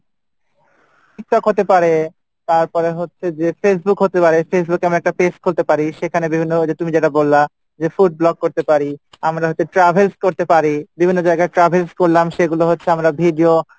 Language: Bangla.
Tiktok হতে পারে তারপরে হচ্ছে যে Facebook হতে পারে Facebook এ আমি একটা page খুলতে পারি সেখানে বিভিন্ন ওইযে তুমি যেটা বললা যে food vlog করতে পারি, আমরা হয়তো travels করতে পারি বিভিন্ন জায়গায় travels করলাম সেগুলো হচ্ছে আমরা video,